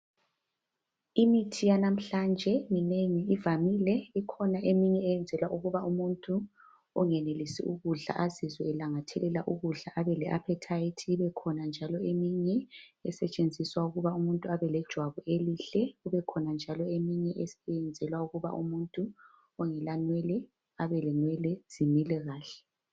Imithi yanamhlanje minengi ivamile Ikhona eminye eyenzelwa ukuba umuntu ongenelisii ukudla azizwe elangathelela ukudla abele appetite. Ibekhona njalo eminye esetshenziswa ukuba umuntu abe lejwabu elihle .Ibekhona njalo eminye eyenzelwa ukuba umuntu ongela nwele abelenwele zimile kahle .